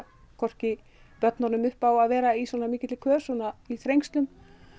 hvorki börnunum upp á að vera í svona mikilli kös svona þrengslum